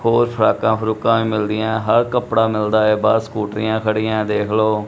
ਹੋਰ ਫਰਾਂਕਾਂ ਫਰੂੰਕਾਂ ਵੀ ਮਿਲਦੀਆਂ ਹੈਂ ਹਰ ਕਪੜਾ ਮਿਲਦਾ ਹੈ ਬਾਹਰ ਸਕਟ੍ਰਿਆਂ ਖੜੀਆਂ ਹੈਂ ਦੇਖ ਲਓ।